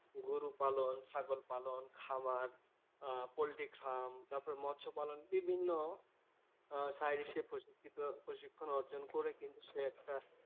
গরু পালন, ছাগল পালন, খামার আহ পোল্ট্রি খাম। তারপর মৎস্য পালন। বিভিন্ন আহ বিভিন্ন সাইটে সে প্রশিক্ষিত প্রশিক্ষণ অর্জন করে কিন্তু সে একটা